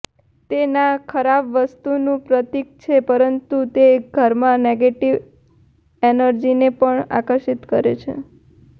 તે ના ખરાબ વાસ્તુનું પ્રતિક છે પરંતુ તે ઘરમાં નેગેટિવ એનર્જીને પણ આકર્ષિત કરે છે